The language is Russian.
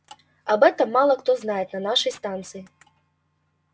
об этом мало кто знает на нашей станции